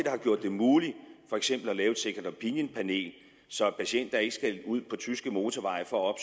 har gjort det muligt for eksempel at lave et second opinion panel så patienter ikke skal ud på tyske motorveje for at